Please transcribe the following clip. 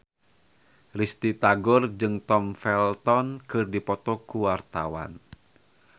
Risty Tagor jeung Tom Felton keur dipoto ku wartawan